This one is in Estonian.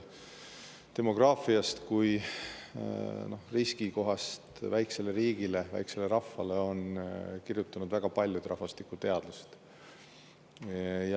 Demograafiast kui riskikohast väikesele riigile, väikesele rahvale on kirjutanud väga paljud rahvastikuteadlased.